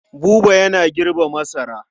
Buba yana girbe masara.